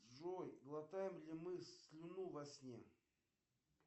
джой глотаем ли мы слюну во сне